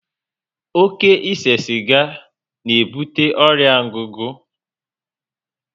Oké ise siga na ebute ọrịa ngugu